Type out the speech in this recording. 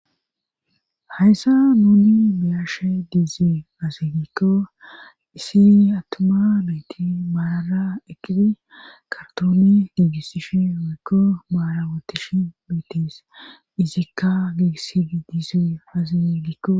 Hayssa nuni biyashe diizey azigikko isi attoma meeti maarara eqqidi kartooni diggisishe wiikko maarawotish meetis izikka giigisidi diizey azig gikko